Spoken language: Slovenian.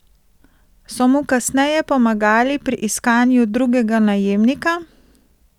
So mu kasneje pomagali pri iskanju drugega najemnika?